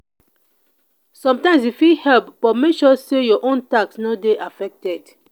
sometimes you fit help but make sure say your own task no dey affected.